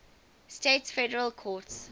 states federal courts